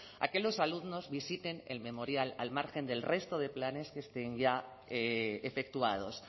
a que los alumnos visiten el memorial al margen del resto de planes que estén ya efectuados